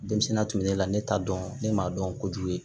Denmisɛnninya tun bɛ ne la ne t'a dɔn ne m'a dɔn kojugu ye